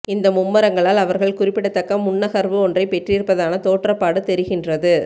இந்த மும்முரங்களால் அவர்கள் குறிப்பிடத்தக்க முன்னகர்வு ஒன்றைப் பெற்றிருப்பதான தோற்றபாடு தெரிகின்றது